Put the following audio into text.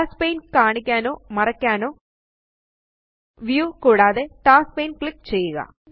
tasks പാനെ കാണിക്കാനോ മറയ്ക്കാനോ വ്യൂ കൂടാതെ ടാസ്ക്സ് പാനെ ക്ലിക്ക് ചെയ്യുക